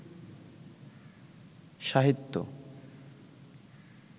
সাহিত্যে